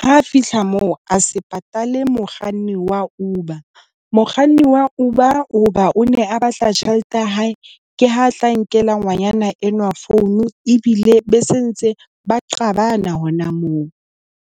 Ha fihla moo a se patale mokganni wa Uber. Mokganni wa Uber hoba o ne a batla tjhelete ya hae ke ha tla nkela ngwanyana enwa phone ebile be sentse ba qabana hona moo.